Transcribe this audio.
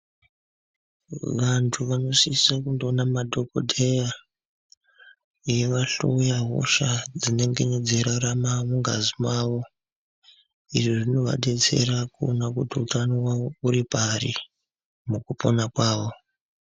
Vantu vanosiso kundoona madhokodheya eivahloya hosha dzinengene dzeiraramara mungazi mwavo izvizvinovadetsera kuona kuti utano hwavo huri pari mukupona kwavo .